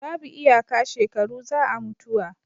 babu iyaka shekaru za a mutuwa